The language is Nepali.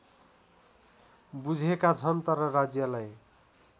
बुझेका छन् तर राज्यलाई